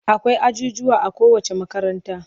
Akwai ajujjuwa a kowacce makaranta.